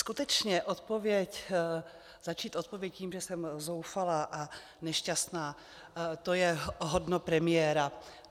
Skutečně začít odpověď tím, že jsem zoufalá a nešťastná, to je hodno premiéra.